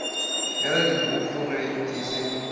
bja dipoko ge e se